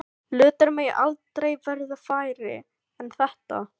Hlutir mega aldrei verða færri en þetta.